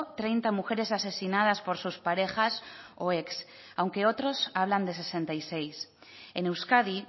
treinta mujeres asesinadas por sus parejas o ex aunque otros hablan de sesenta y seis en euskadi